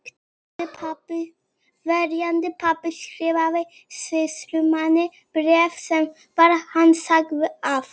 Verjandi pabba skrifaði sýslumanni bréf þar sem hann sagði að